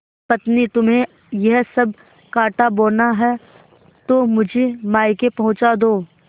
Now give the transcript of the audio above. पत्नीतुम्हें यह सब कॉँटा बोना है तो मुझे मायके पहुँचा दो